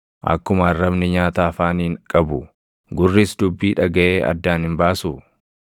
Akkuma arrabni nyaata afaaniin qabu, gurris dubbii dhagaʼee addaan hin baasuu?